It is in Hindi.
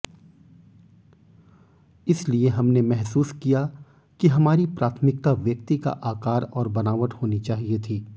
इसलिए हमने महसूस किया कि हमारी प्राथमिकता व्यक्ति का आकार और बनावट होनी चाहिए थी